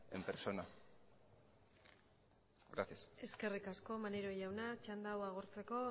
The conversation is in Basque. en persona gracias eskerrik asko maneiro jauna txanda hau agortzeko